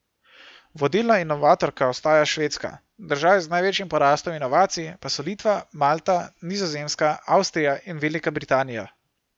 Vodilna inovatorka ostaja Švedska, države z največjim porastom inovacij pa so Litva, Malta, Nizozemska, Avstrija in Velika Britanija.